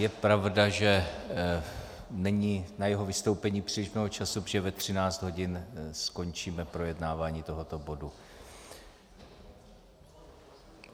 Je pravda, že není na jeho vystoupení příliš mnoho času, protože ve 13 hodin skončíme projednávání tohoto bodu.